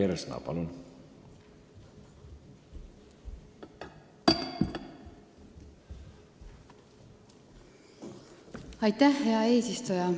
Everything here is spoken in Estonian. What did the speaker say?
Hea eesistuja!